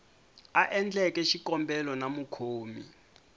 a endleke xikombelo na mukhomi